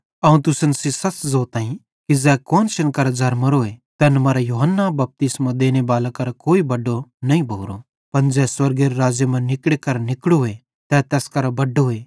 अवं तुसन सेइं सच़ ज़ोताईं कि ज़ै कुआन्शन करां ज़रमोरोए तैन मां यूहन्ना बपतिस्मो देनेबाले करां कोई बड्डो नईं भोरो पन ज़ै स्वर्गेरे राज़्ज़े मां निकड़े करां निकड़ोए तै तैस करां भी बड्डोए